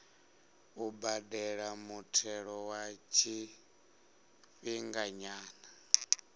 u badela muthelo wa tshifhinganyana